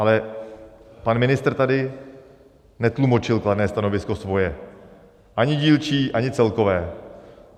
Ale pan ministr tady netlumočil kladné stanovisko svoje, ani dílčí, ani celkové.